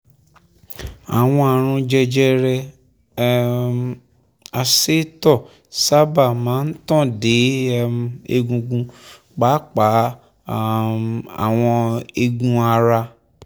ààrùn jẹjẹrẹ um asétọ̀ sábà máa ń tàn dé um egungun pàápàá um àwọn eegun ara